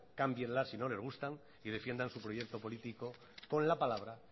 cámbienlas si no les gustan y defiendan su proyecto político con la palabra